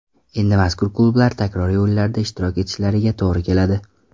Endi mazkur klublar takroriy o‘yinlarda ishtirok etishlariga to‘g‘ri keladi.